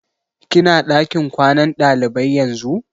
Ki na ɗakin kwanan ɗalibai yanzu?